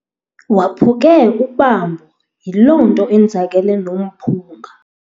Waphuke ubambo yiloo nto enzakele nomphunga.